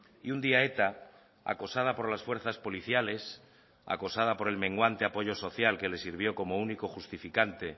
y un día eta acosada por las fuerzas policiales acosada por el menguante apoyo social que le sirvió como único justificante